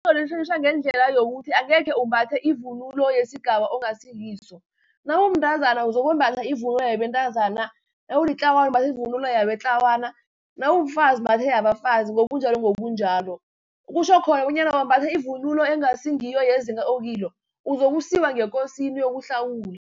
ngendlela yokuthi angekhe umbathe ivunulo yesigaba ongasikiso. Nawumntazana uzokwembatha ivunulo yabentazana, nawulitlawana umbatha ivunulo yamatlawana, nawumfazi umbathe yabafazi ngobunjalo, ngobunjalo. Kutjho khona bonyana wambatha ivunulo engasi ngiyo yezinga okilo, uzokusiwa ngekosini uyokuhlawula.